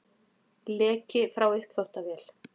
Leki frá uppþvottavél